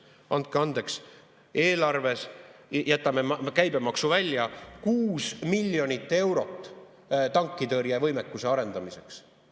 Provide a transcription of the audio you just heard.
Andke andeks, eelarves – jätame käibemaksu välja – on 6 miljonit eurot tankitõrjevõimekuse arendamiseks.